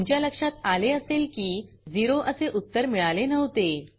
तुमच्या लक्षात आले असेल की झेरो असे उत्तर मिळाले नव्हते